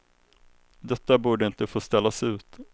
Detta borde inte få ställas ut.